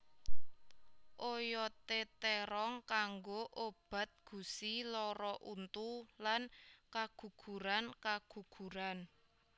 Oyodé térong kanggo obat gusi lara untu lan kagugurankaguguran